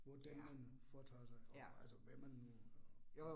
Hvor det man foretager sig, og altså hvad man nu og